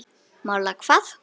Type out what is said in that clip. MÁLA HVAÐ?